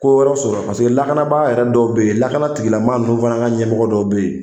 Ko wɛrɛ sɔrɔ paseke lakanabaga yɛrɛ dɔw bɛ ye lakana tigilamaa ninnu fana ka ɲɛmɔgɔ dɔw bɛ ye.